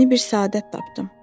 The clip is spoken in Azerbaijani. Yeni bir səadət tapdım.